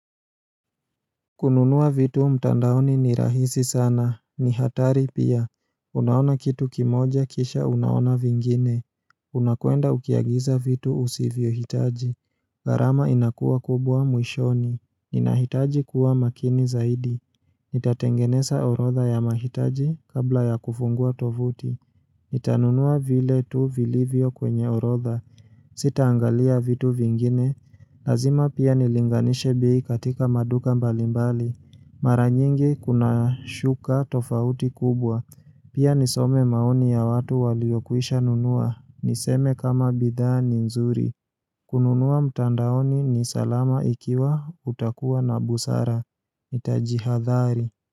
Kununua vitu mtandaoni ni rahisi sana. Ni hatari pia. Unaona kitu kimoja kisha unaona vingine. Unakwenda ukiagiza vitu usivyohitaji. Gharama inakua kubwa mwishoni. Ninahitaji kuwa makini zaidi. Nitatengeneza orodha ya mahitaji kabla ya kufungua tovuti. Nitanunua vile tu vilivyo kwenye orodha. Sitaangalia vitu vingine. Lazima pia nilinganishe bei katika maduka mbalimbali. Mara nyingi kuna shuka tofauti kubwa. Pia nisome maoni ya watu waliokwisha nunua. Niseme kama bidhaa ni nzuri. Kununua mtandaoni ni salama ikiwa utakuwa na busara. Jitahadhari.